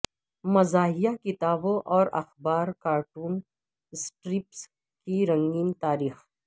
مزاحیہ کتابوں اور اخبار کارٹون سٹرپس کی رنگین تاریخ